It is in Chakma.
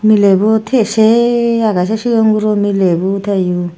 miley bo tiye sey agey se sion guro milebo teyo.